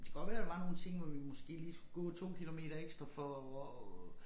Det godt være der var nogle ting hvor vi måske lige skulle gå 2 kilometer ekstra for